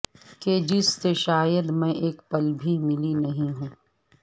کہ جس سے شاید میں ایک پل بھی ملی نہیں ہوں